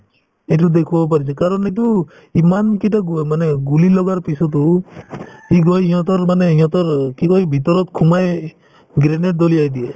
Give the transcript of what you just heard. এইটোত দেখুৱাব পাৰিছে কাৰণ এইটো ইমান কেইটা গুহ মানে গুলি লগাৰ পিছতো ই গৈ সিহঁতৰ মানে সিহঁতৰ কি কই ভিতৰত সোমাই grenade দলিয়াই দিয়ে